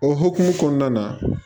O hukumu kɔnɔna na